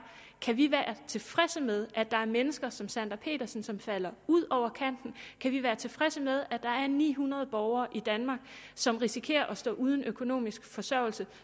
kan vi være tilfredse med at der er mennesker som sandra petersen som falder ud over kanten kan vi være tilfredse med at der er ni hundrede borgere i danmark som risikerer at stå uden økonomisk forsørgelse